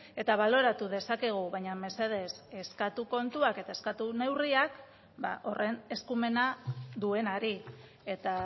eta baloratu dezakegu baina mesedez eskatu kontuak eta eskatu neurriak horren eskumena duenari eta